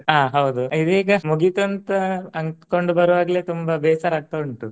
ಆ ಹೌದು ಇದೀಗ ಮುಗೀತು ಅಂತ ಅನ್ಕೊಂಡ್ ಬರುವಾಗ್ಲೆ ತುಂಬಾ ಬೇಸರ ಆಗ್ತಾ ಉಂಟು.